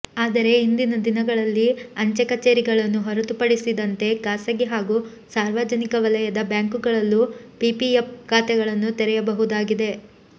ಆದರೆ ಇಂದಿನ ದಿನಗಳಲ್ಲಿ ಅಂಚೆ ಕಛೇರಿಗಳನ್ನು ಹೊರತುಪಡಿಸಿದಂತೆ ಖಾಸಗಿ ಹಾಗೂ ಸಾರ್ವಜನಿಕ ವಲಯದ ಬ್ಯಾಂಕುಗಳಲ್ಲೂ ಪಿಪಿಎಪ್ ಖಾತೆಗಳನ್ನು ತೆರೆಯಬಹುದಾಗಿದೆ